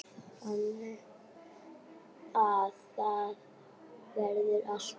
Þannig að það verður alltaf.